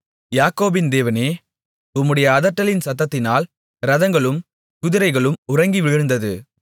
யாக்கோபின் தேவனே உம்முடைய அதட்டலின் சத்தத்தினால் இரதங்களும் குதிரைகளும் உறங்கி விழுந்தது